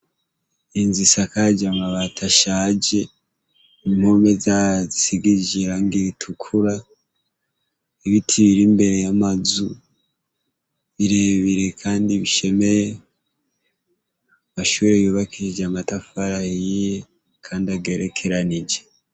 Inz’isakaj’amabat’ashaje, impome zayo zisigishije irangi ritukura, ibiti bir’imbere y’amazu birebire Kandi bishemeye, amashure yubakishije amatafari ahiye kand’agerekeranije.